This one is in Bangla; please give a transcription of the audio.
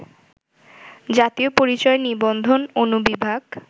জাতীয় পরিচয় নিবন্ধন অনুবিভাগ